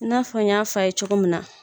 I n'a fɔ n y'a f'a ye cogo min na.